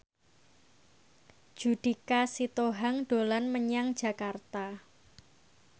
Judika Sitohang dolan menyang Jakarta